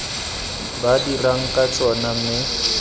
ba dirang ka tsona mme